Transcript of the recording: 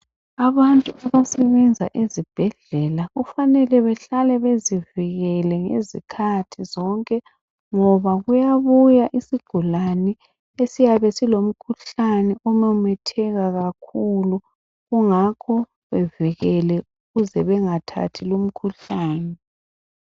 Abantu abasebenza ezibhedlela kufanele behlale bezivikele ngezikhathi zonke ngoba kuyabuya isigulane esiyabe silomkhuhlane omemetheka kakhulu kungakho bevikele ukuze bengathathi umkhuhlane.